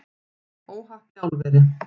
Óhapp í álveri